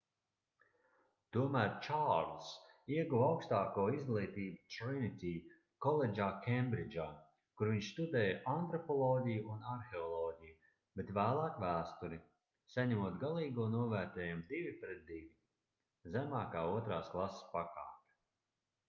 tomēr čārlzs ieguva augstāko izglītību trinity koledžā kembridžā kur viņš studēja antropoloģiju un arheoloģiju bet vēlāk vēsturi saņemot galīgo novērtējumu 2:2 zemākā otrās klases pakāpe